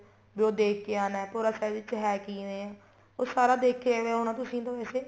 ਵੀ ਉਹ ਦੇਖਕੇ ਆਣਾ ਹੈ ਭੋਰਾ ਸਾਹਿਬ ਵਿੱਚ ਹੈ ਕਿਵੇਂ ਉਹ ਸਾਰਾ ਦੇਖਿਆ ਹੋਣਾ ਤੁਸੀਂ ਤਾਂ ਵੈਸੇ